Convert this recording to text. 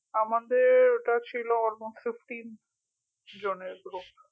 আমাদের ওটা ছিল almost fifteen জনের group